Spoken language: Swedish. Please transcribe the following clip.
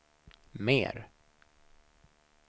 mer